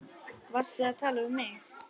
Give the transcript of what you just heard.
Varstu að tala við mig?